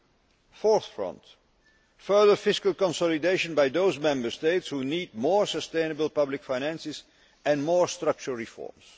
The fourth front further fiscal consolidation by those Member States which need more sustainable public finances and more structural reforms.